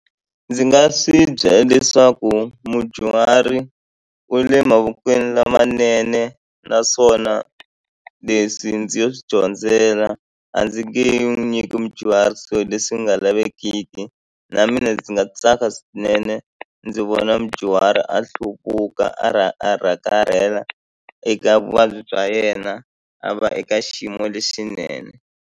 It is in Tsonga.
Ndzi nga swi byela leswaku mudyuhari u le mavokweni lamanene naswona leswi ndzi yo swi dyondzela a ndzi nge n'wi nyiki mudyuhari swilo leswi nga lavekeki na mina ndzi nga tsaka swinene ndzi vona mudyuhari a hluvuka a eka vuvabyi bya yena a va eka xiyimo lexinene.